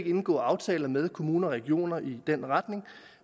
indgå aftaler med kommuner og regioner i den retning